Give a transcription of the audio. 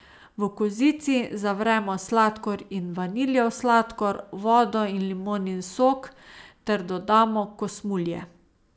V kozici zavremo sladkor in vaniljev sladkor, vodo in limonin sok ter dodamo kosmulje.